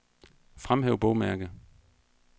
Fremhæv bogmærke.